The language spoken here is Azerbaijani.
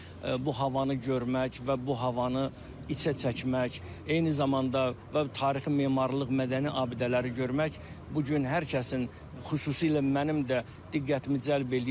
Artıq bu havanı görmək və bu havanı içə çəkmək, eyni zamanda və tarixi memarlıq, mədəni abidələri görmək bu gün hər kəsin, xüsusilə mənim də diqqətimi cəlb eləyir.